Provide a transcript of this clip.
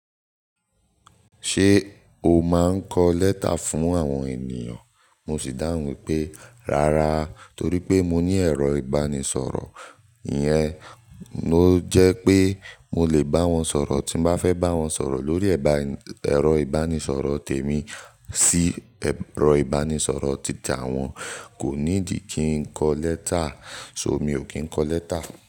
Ṣé o máa ń kọ lẹ́tà fún àwọn ènìyàn? Mo sì dáhùn pé, rárá torí pé mo ní ẹ̀rọ ìbánisọ̀rọ̀ yẹn ló jẹ́ pé mo lè bá wọn sọ̀rọ̀ tí mo bá fẹ́ bá wọn sọ̀rọ̀ lórí ẹ̀rọ ìbánisọ̀rọ̀ tèmi sí ẹ̀rọ ìbánisọ̀rọ̀ títà wọn. Kò nídi kí n kọ lẹ́tà, so mi ò kí ń kọ lẹ́tà.